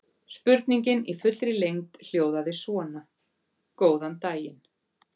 Spurningin í fullri lengd hljóðaði svona: Góðan daginn.